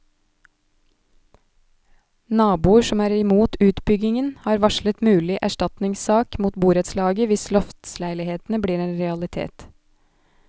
Naboer som er imot utbyggingen, har varslet mulig erstatningssak mot borettslaget hvis loftsleilighetene blir en realitet.